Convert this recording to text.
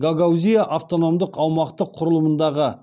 гагаузия автономдық аумақтық құрылымындағы